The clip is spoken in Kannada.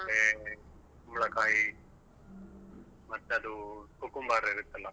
ಮತ್ತೆ ಕುಂಬಳಕಾಯಿ ಮತ್ತದು cucumber ಇರುತ್ತಲ್ವಾ.